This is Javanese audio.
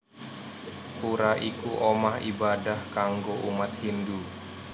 Pura iku omah ibadah kanggo umat Hindu